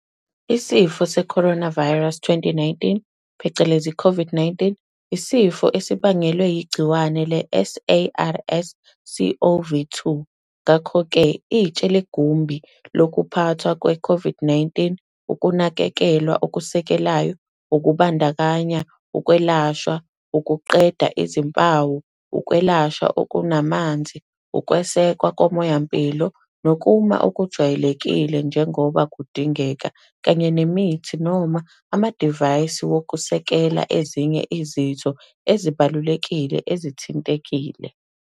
isifo se-coronavirus 2019 phecelezi COVID-19, isifo esibangelwe yigciwane le-SARS-CoV-2. Ngakho-ke, itshe legumbi lokuphathwa kwe-COVID- 19 ukunakekelwa okusekelayo, okubandakanya ukwelashwa ukuqeda izimpawu, ukwelashwa okunamanzi, ukwesekwa komoya-mpilo nokuma okujwayelekile njengoba kudingeka, kanye nemithi noma amadivayisi wokusekela ezinye izitho ezibalulekile ezithintekile.